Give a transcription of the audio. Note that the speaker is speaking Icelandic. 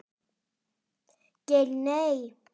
Geir Nei.